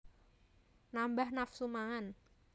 Nambah nafsu mangan